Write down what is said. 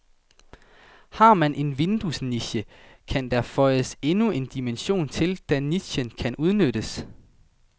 Har man en vinduesniche, kan der føjes endnu en dimension til, da nichen kan udnyttes.